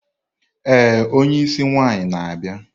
Ee onye isi nwaanyi na-abịa.